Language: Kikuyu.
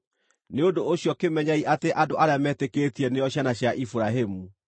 Nĩ ũndũ ũcio kĩmenyei atĩ andũ arĩa metĩkĩtie nĩo ciana cia Iburahĩmu.